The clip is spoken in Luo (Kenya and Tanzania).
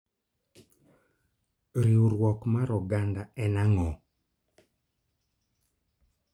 Riwruok mar oganda en ang'o?